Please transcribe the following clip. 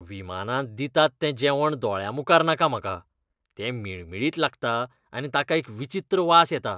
विमानांत दितात तें जेवण दोळ्यांमुखार नाका म्हाका. तें मिळमिळीत लागता आनी ताका एक विचित्र वास येता.